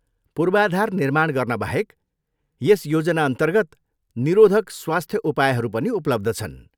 पूर्वाधार निर्माण गर्नबाहेक, यस योजनाअन्तर्गत निरोधक स्वास्थ्य उपायहरू पनि उपलब्ध छन्।